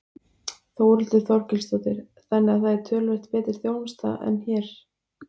Þórhildur Þorkelsdóttir: Þannig að það er töluvert betri þjónusta en hér?